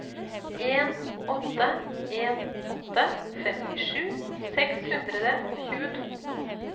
en åtte en åtte femtisju seks hundre og tjueto